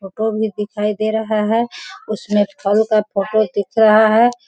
Photo भी दिखाई दे रहा है। उसमे फल का फोटो दिख रहा है।